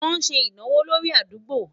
wón sé ìnáwó lórí àdúgbo